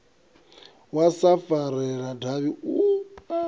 wa sa farelela davhi u